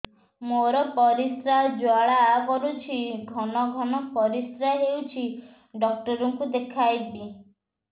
ମୋର ପରିଶ୍ରା ଜ୍ୱାଳା କରୁଛି ଘନ ଘନ ପରିଶ୍ରା ହେଉଛି ଡକ୍ଟର କୁ ଦେଖାଇବି